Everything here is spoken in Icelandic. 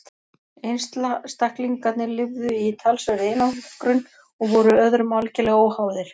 einstaklingarnir lifðu í talsverðri einangrun og voru öðrum algerlega óháðir